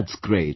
That's great